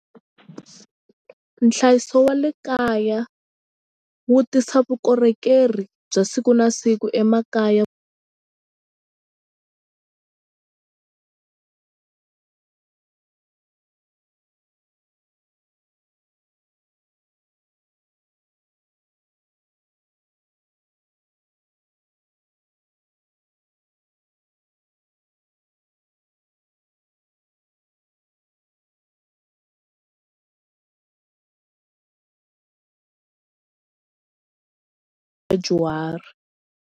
Nhlayiso wa le kaya wu tisa vukorhokeri bya siku na siku emakaya vadyuhari.